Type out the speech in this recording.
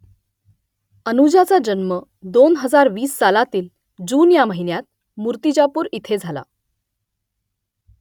अनुजाचा जन्म दोन हजार वीस सालातील जून ह्या महिन्यात मुर्तिजापूर इथे झाला